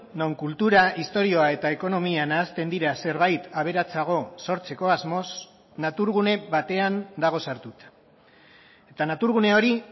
non kultura historia eta ekonomia nahasten dira zerbait aberatsago sortzeko asmoz naturgune batean dago sartuta eta naturgune hori